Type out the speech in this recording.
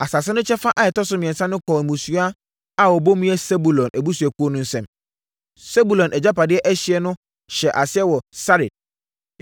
Asase no kyɛfa a ɛtɔ so mmiɛnsa no kɔɔ mmusua a wɔbɔ mu yɛ Sebulon abusuakuo no nsam. Sebulon agyapadeɛ ɛhyeɛ no hyɛ aseɛ wɔ Sarid.